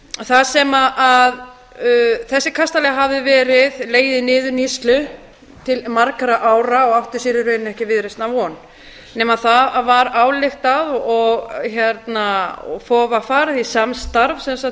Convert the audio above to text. þar sem þessi kastali hafði legið í niðurníðslu til margra ára og átti sér í rauninni ekki viðreisnar von nema það var ályktað og var farið í